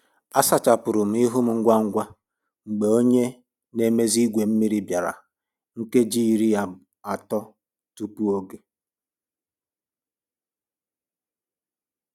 A sachapụrụ m ihu m ngwa ngwa mgbe onye na-emezi igwe mmiri bịara nkeji iri atọ tupu oge